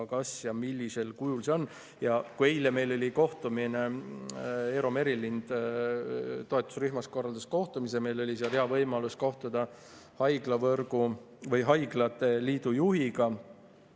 Eile korraldas Eero Merilind toetusrühmas kohtumise ja meil oli hea võimalus kohtuda haiglate liidu juhiga.